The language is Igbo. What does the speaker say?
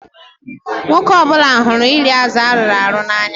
Nwoke ọ bụla hụrụ iri azụ arụrụ arụ n'anya.